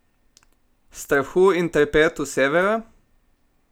Strahu in trepetu Severa?